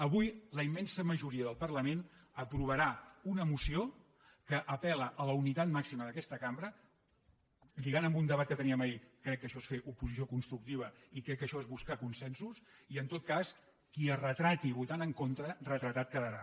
avui la immensa majoria del parlament aprovarà una moció que apel·la a la unitat màxima d’aquesta cambra lligant amb un debat que teníem ahir crec que això és fer oposició constructiva i crec que això és buscar consensos i en tot cas qui es retrati votant en contra retratat quedarà